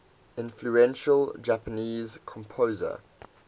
influential japanese composer